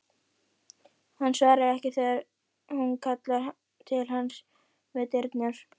Hann svarar ekki þegar hún kallar til hans við dyrnar.